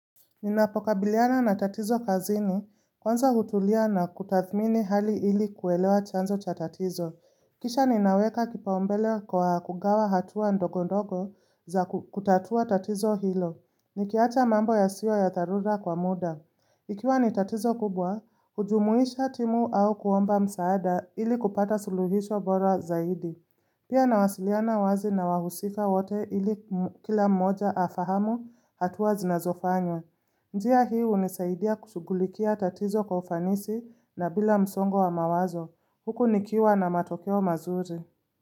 Ninapokabiliana na tatizo kazini, kwanza hutulia na kutathmini hali ili kuelewa chanzo cha tatizo. Kisha ninaweka kipaumbele kwa kugawa hatua ndogo ndogo za kutatua tatizo hilo. Nikiacha mambo yasiyo ya dharura kwa muda. Ikiwa ni tatizo kubwa, hujumuisha timu au kuomba msaada ili kupata suluhisho bora zaidi. Pia nawasiliana wazi na wahusika wote ili kila mmoja afahamu hatua zinazofanywa. Njia hii hunisaidia kushughulikia tatizo kwa ufanisi na bila msongo wa mawazo. Huku nikiwa na matokeo mazuri.